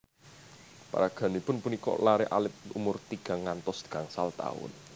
Paraganipun punika laré alit umur tigang ngantos gangsal taun